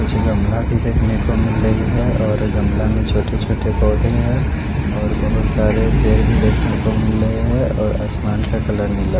पीछे गमला भी देखने को मिल रही है और गमला में छोटे छोटे पोधे है और बहोत सारे पेड़ भी देखने को मिल रहे है और आसमान का कलर नीला है।